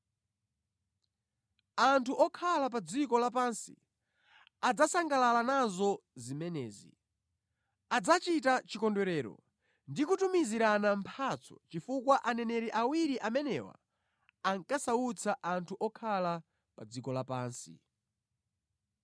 Anthu okhala pa dziko lapansi adzasangalala nazo zimenezi. Adzachita chikondwerero ndi kutumizirana mphatso, chifukwa aneneri awiri amenewa ankasautsa anthu okhala pa dziko lapansi.